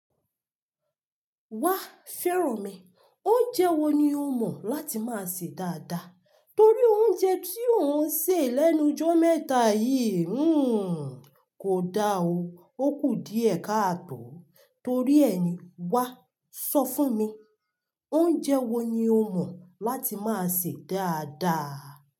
Wa fẹ́rànmi, oúnjẹ wo ni o mọ̀ láti máa sè dáadáa? Torí oúnjẹ tí ò ń sè lẹ́nu jọ́ mẹ́ta yìí, hmmm kò da o. Ó kù díẹ̀ katọ́. Torí ẹ ni, wá sọ fún mi, oúnjẹ wo ni o mọ̀ láti máa sè dáadáa?